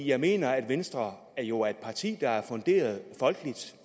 jeg mener at venstre jo er et parti der er folkeligt funderet